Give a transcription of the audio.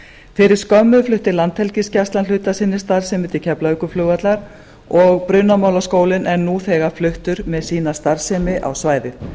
fyrir skömmu flutti landhelgisgæslan hluta af sinni starfsemi til keflavíkurflugvallar og brunamálaskólinn er nú þegar fluttur með sína starfsemi á svæðið